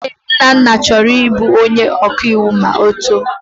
Ee, Nnanna chọrọ ịbụ onye ọkaiwu ma ọ too.